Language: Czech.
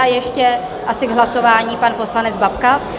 A ještě asi k hlasování pan poslanec Babka.